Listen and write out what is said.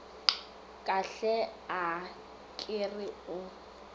kahle a ke re o